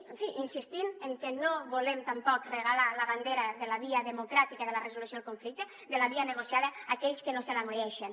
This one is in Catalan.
en fi insistint en que no volem tampoc regalar la bandera de la via democràtica i de la resolució del conflicte de la via negociada a aquells que no se la mereixen